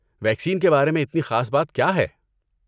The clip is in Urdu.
ویکسین کے بارے میں اتنی خاص بات کیا ہے؟